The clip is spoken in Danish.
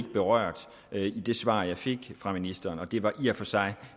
berørt i det svar jeg fik fra ministeren det var i og for sig